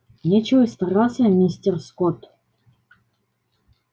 нечего и стараться мистер скотт